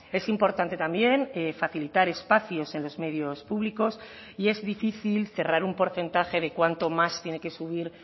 es importante también facilitar espacios en los medios públicos y es difícil cerrar un porcentaje de cuánto más tiene que subir